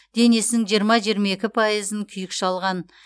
денесінің жиырма жиырма екі пайызын күйік шалған